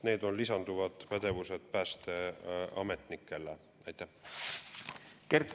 Need on päästeametnikele lisanduvad pädevused.